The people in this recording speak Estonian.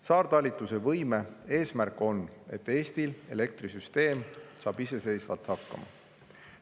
Saartalitluse võime eesmärk on, et Eesti elektrisüsteem saab iseseisvalt hakkama.